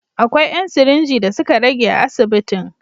Akwai ‘yan sirinji da suka rage a asibitin.